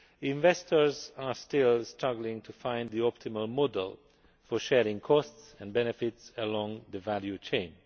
Investors are still struggling to find the optimum model for sharing costs and benefits along the value chain.